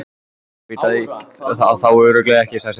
Hún veit það þá örugglega ekki, sagði Svenni.